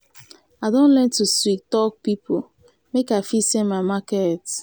i don learn to sweet-talk pipo make i fit sell my market.